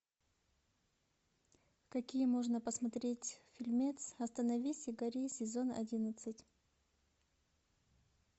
какие можно посмотреть фильмец остановись и гори сезон одиннадцать